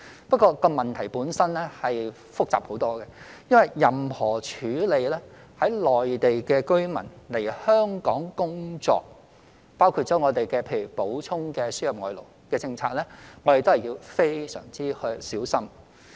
不過，這個問題本身很複雜，因為處理任何內地居民來香港工作，包括我們的輸入外勞政策，我們都要非常小心。